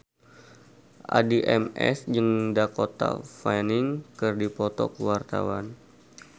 Addie MS jeung Dakota Fanning keur dipoto ku wartawan